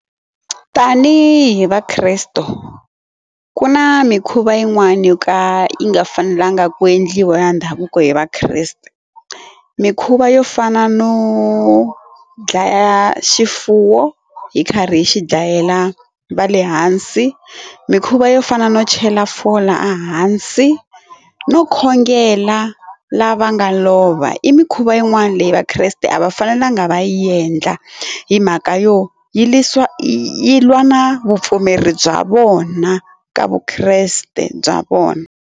Tanihi va kresto ku na mikhuva yin'wani yo ka yi nga fanelanga ku endliwa ndhavuko hi vakreste. Mikhuva yo fana no dlaya xifuwo hi karhi hi xi dlayela va le hansi, mikhuva yo fana no chela fola hansi no khongela lava nga lova i mikhuva yin'wana leyi vakreste a va fanelanga va yi endla hi mhaka yo yisa yi lwa na vupfumeri bya vona ka vukreste bya vona.